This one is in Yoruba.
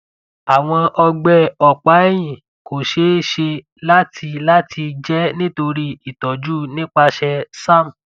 awọn ọgbẹ ọpaẹhin ko ṣee ṣe lati lati jẹ nitori itọju nipasẹ serm